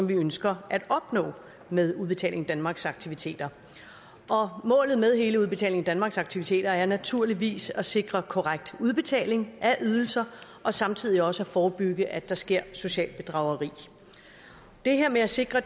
vi ønsker at opnå med udbetaling danmarks aktiviteter målet med hele udbetaling danmarks aktiviteter er naturligvis at sikre korrekt udbetaling af ydelser og samtidig også at forebygge at der sker socialt bedrageri det her med at sikre